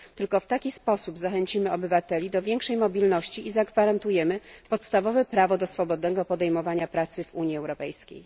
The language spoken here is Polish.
Tylko w taki sposób zachęcimy obywateli do większej mobilności i zagwarantujemy podstawowe prawo do swobodnego podejmowania pracy w Unii Europejskiej.